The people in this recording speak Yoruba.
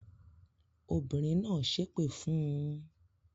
Obìnrin náà ṣépè fún un?